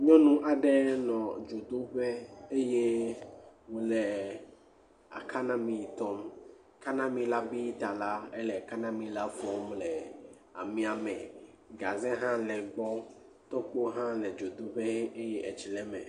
Nyɔnu aɖe nɔ dzodoƒe eye wòle akanami tɔm. Kanamila bi ta la ele kanamila fɔm le amia me. Gaze hã le egbɔ. Tɔkpo hã dzodoƒe eye etsi le eme.